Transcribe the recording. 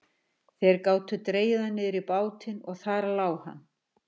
Þeir gátu dregið hann niður í bátinn og þar lá hann.